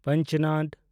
ᱯᱟᱸᱡᱽᱱᱚᱫᱽ